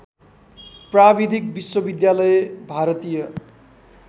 प्राविधिक विश्वविद्यालय भारतीय